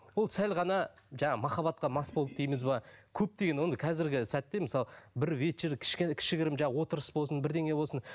ол сәл ғана жаңағы махаббатқа мас болды дейміз бе көптеген ондай қазіргі сәтте мысалы бір вечер кішігірім жаңағы отырыс болсын бірдеңе болсын